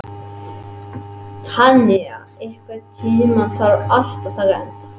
Tanya, einhvern tímann þarf allt að taka enda.